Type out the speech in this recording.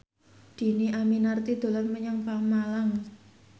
Dhini Aminarti dolan menyang Pemalang